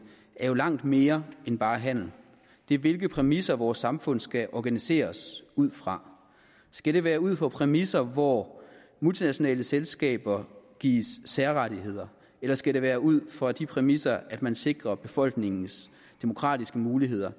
er jo langt mere end bare handel det er hvilke præmisser vores samfund skal organiseres ud fra skal det være ud fra præmisser hvor multinationale selskaber gives særrettigheder eller skal det være ud fra de præmisser at man sikrer befolkningens demokratiske muligheder